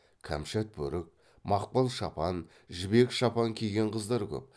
кәмшат бөрік мақпал шапан жібек шапан киген қыздар көп